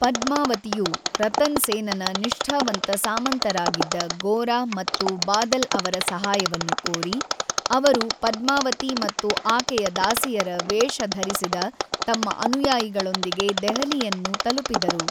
ಪದ್ಮಾವತಿಯು ರತನ್ ಸೇನನ ನಿಷ್ಠಾವಂತ ಸಾಮಂತರಾಗಿದ್ದ ಗೋರ ಮತ್ತು ಬಾದಲ್ ಅವರ ಸಹಾಯವನ್ನು ಕೋರಿ, ಅವರು ಪದ್ಮಾವತಿ ಮತ್ತು ಆಕೆಯ ದಾಸಿಯರ ವೇಷ ಧರಿಸಿದ ತಮ್ಮ ಅನುಯಾಯಿಗಳೊಂದಿಗೆ ದೆಹಲಿಯನ್ನು ತಲುಪಿದರು.